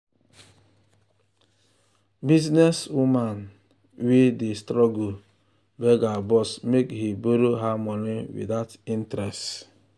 . business woman business woman wey dey struggle beg her boss make he borrow her money without interest.